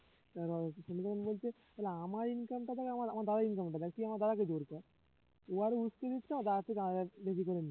এবার সনু তখন বলছে তাহলে আমার income টা দেখ আমার আমার দাদার income টা দেখ, তুই আমার দাদাকে জোর কর ও আরো উস্কে দিচ্ছে আমার দাদার থেকে আরো বেশি করে নে